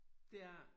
Det er jeg